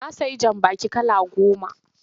Na sayi jambaki kala goma.